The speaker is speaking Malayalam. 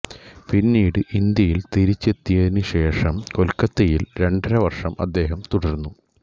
പിന്നീട് ഇന്ത്യയിൽ തിരിച്ചെത്തിയതിനുശേഷം കൊൽക്കത്തയിൽ രണ്ടര വർഷം അദ്ദേഹം തുടർന്നു